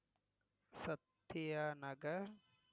Sathya Nagar